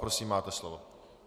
Prosím, máte slovo.